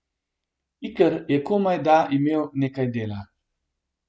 Iker je komaj da imel nekaj dela.